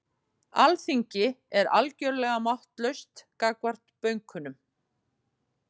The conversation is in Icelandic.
Alþingi er algjörlega máttlaust gagnvart bönkunum